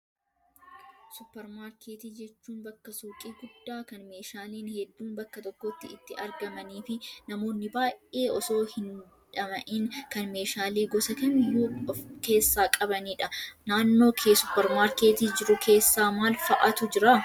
Suupparmaarkeetii jechuun bakka suuqii guddaa kan meeshaaleen hedduun bakka tokkotti itti argamanii fi namoonni baay'ee osoo hin dhama'iin kan meeshaalee gosa kamiyyuu of keessaa qabanidha. Naannoo kee suupparmaarkeetii jiru keessa maal fa'aatu jira?